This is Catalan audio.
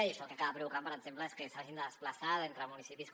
i això el que acaba provocant per exemple és que s’hagin de desplaçar entre municipis com